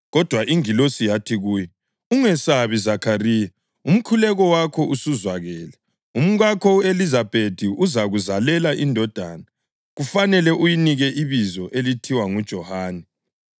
Kodwa ingilosi yathi kuye, “Ungesabi, Zakhariya; umkhuleko wakho usuzwakele. Umkakho u-Elizabethi uzakuzalela indodana kufanele uyinike ibizo elithiwa nguJohane.